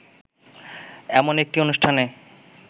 এমন একটি অনুষ্ঠানে